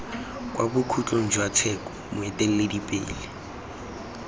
kwa bokhutlong jwa tsheko moeteledipele